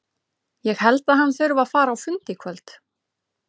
Ég held að hann þurfi að fara á fund í kvöld.